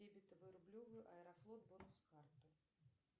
дебетовую рублевую аэрофлот бонус карту